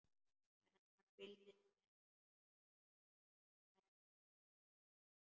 En hann fylgist með henni.